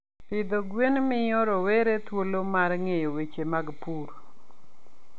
Pidho gwen miyo rowere thuolo mar ng'eyo weche mag pur.